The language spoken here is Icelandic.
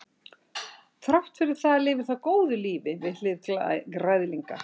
þrátt fyrir það lifir það góðu lífi við hlið græðlinga